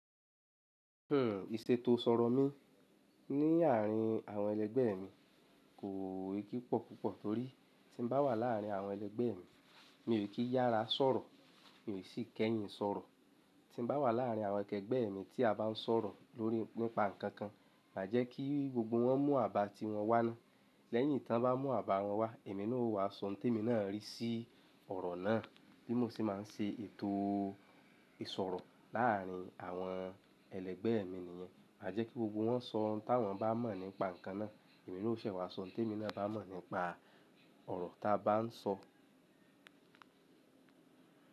Hmm, ìṣètò sọ̀rọ̀ mí ní àárín àwọn ẹlẹgbẹ́ mi kò kípọ̀ púpọ̀ torí tí n bá wà láàrin àwọn ẹlẹgbẹ́ mi, mi ò kí yára sọ̀rọ̀, mi ò sí kẹ́yìn sọ̀rọ̀. Tí n bá wà láàrin àwọn kẹgbẹ́ mi tí a bá n sọ̀rọ̀ lórí nípa nǹkan kan, má jẹ́ kí gbogbo wọn mú àbá tí wọn wá ná. Lẹ́yìn tí wọ́n bá mú àbá wọn wá, èmi náà ó wá sọ ohun tí èmi náà rí sí ọ̀rọ̀ náà, bí mo ṣe má n ṣe ètò ìsọ̀rọ̀ láàrin àwọn ẹlẹgbẹ́ mi nìyẹn. Má jẹ́ kí gbogbo wọn sọ ohun ta wọ́n bá mọ̀ nípa nǹkan náà, èmi ó ṣẹ̀ wá sọ ohun tí èmi náà bá mọ̀ nípa ọ̀rọ̀ ta bá n sọ.